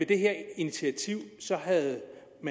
det her initiativ havde